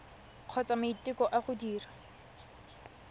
kgotsa maiteko a go dira